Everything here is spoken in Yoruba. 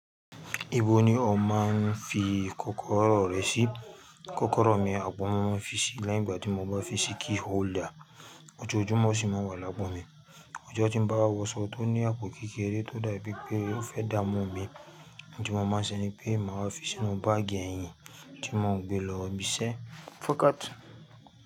Ibo ni o máa ń fi kọ́kọ́rọ́ rẹ sí? Kọ́kọ́rọ́ mi, apo mi máa ń fi sí leyin igba tí mo bá fi sí key holder, ojoojúmọ́ ṣì máa ń wà lapo mi. Ọjọ́ tí mo bá wọṣọ tó ní àpò kékeré tó dàbí pé ó fẹ́ dámu mi, ohun tí mo máa ń ṣe ni pé màá fi sínú báàgì ẹ̀yìn tí mo ń gbé lọ ibiṣẹ́.